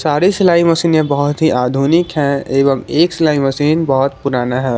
सारे सिलाई मशीने बहुत ही आधुनिक है एवं एक सिलाई मशीन बहोत पुराना है।